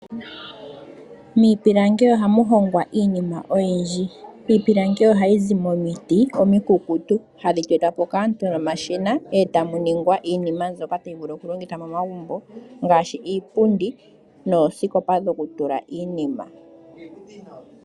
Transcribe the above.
Miipilangi ohamu hongwa iinima oyindji. Iipilangi ohayi zi momiti omikukukutu hadhi tetwa po kaantu nomashina , etamu ningwa iinima mbyoka tayi vulu okulongithwa momagumbo ngaashi Iipundi noosikopa dhokutula iinima.